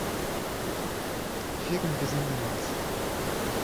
фильм безумный макс